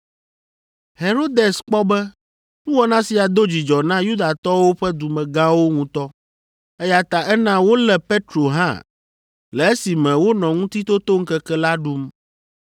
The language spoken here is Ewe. Herodes kpɔ be nuwɔna sia do dzidzɔ na Yudatɔwo ƒe dumegãwo ŋutɔ, eya ta ena wolé Petro hã le esime wonɔ Ŋutitotoŋkeke la ɖum.